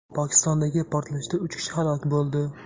Pokistondagi portlashda uch kishi halok bo‘ldi.